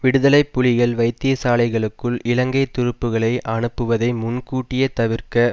விடுதலை புலிகள் வைத்தியசாலைகளுக்குள் இலங்கை துருப்புக்களை அனுப்புவதை முன்கூட்டியே தவிர்க்க